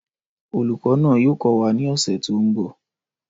Olùkọ́ náà yóò kọ́ wa ní ọ̀sẹ̀ tó ń bọ̀